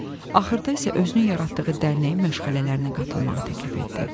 Axırda isə özünü yaratdığı dərnəyin məşğələlərinə qatılmağı təklif etdi.